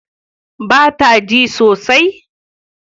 Ba ta cin sosaj?